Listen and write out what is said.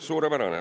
Suurepärane.